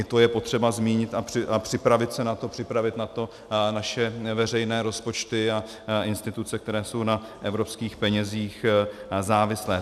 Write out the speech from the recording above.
I to je potřeba zmínit a připravit se na to, připravit na to naše veřejné rozpočty a instituce, které jsou na evropských penězích závislé.